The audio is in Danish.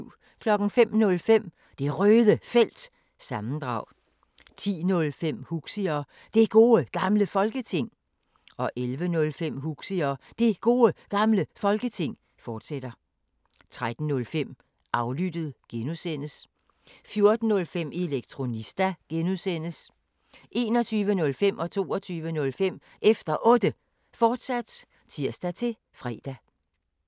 05:05: Det Røde Felt – sammendrag 10:05: Huxi og Det Gode Gamle Folketing 11:05: Huxi og Det Gode Gamle Folketing, fortsat 13:05: Aflyttet (G) 14:05: Elektronista (G) 21:05: Efter Otte, fortsat (tir-fre) 22:05: Efter Otte, fortsat (tir-fre)